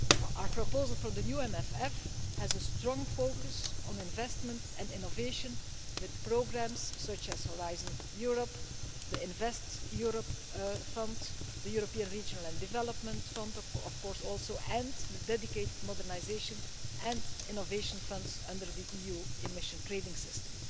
Our proposal for the new MFF has a strong focus on investment and innovation, with programmes such as Horizon Europe, the Invest Europe Fund, the European Regional and Development Fund, and the dedicated modernisation and innovation funds under the EU Emissions Trading System.